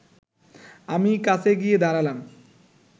আমি কাছে গিয়ে দাঁড়ালাম